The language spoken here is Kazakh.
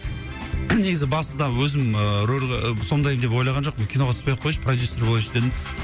негізі басты да өзім ыыы рөлді сомдайын деп ойлаған жоқпын киноға түспей ақ кояйыншы продюссер болайыншы дедім